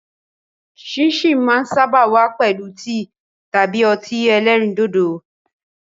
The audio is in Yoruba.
Síìnsìn máa ń sáábà wá pẹ̀lú tíì tàbí ọtí ẹlẹ́rìndòdò.